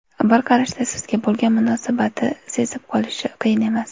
Bir qarashda sizga bo‘lgan munosabati sezib olish qiyin emas.